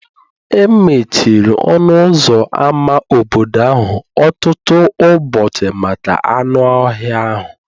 E mechiri ọnụ ụzọ ámá obodo ahụ ọtụtụ ụbọchị maka anụ ọhịa ahụ